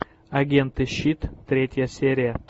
агенты щит третья серия